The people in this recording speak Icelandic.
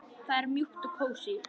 Það er mjúkt og kósí.